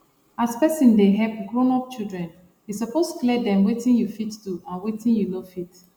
as person dey help grown up children e suppose clear dem weti u fit do and weti u no fit